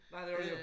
Nej det jo dét jo